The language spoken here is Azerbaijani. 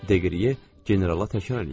Deqriye generala təkrar eləyirdi.